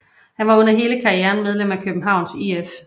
Han var under hele karrieren medlem af Københavns IF